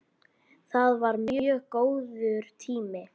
Það var mjög góður tími.